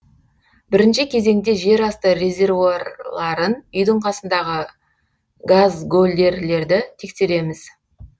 бірінші кезеңде жерасты резервуарларын үйдің қасындағы газгольдерлерді тексереміз